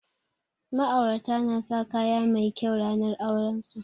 Ma'aurata na sa kaya mai kyau ranar auren su